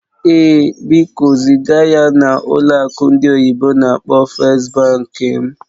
Ee, biko ziga ya na ụlọ akụ ndị oyibo n'akpọ "First Bank" m